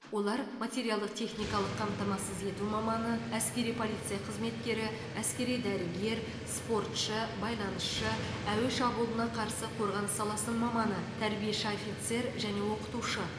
олар материалдық техникалық қамтамасыз ету маманы әскери полиция қызметкері әскери дәрігер спортшы байланысшы әуе шабуылына қарсы қорғаныс саласының маманы тәрбиеші офицер және оқытушы